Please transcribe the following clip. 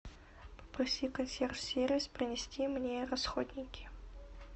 попроси консьерж сервис принести мне расходники